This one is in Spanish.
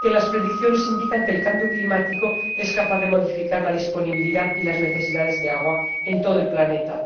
que las predicciones indican que el cambio climático es capaz de modificar la disponibilidad y las necesidades de agua en todo el planeta